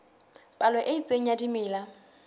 palo e itseng ya dimela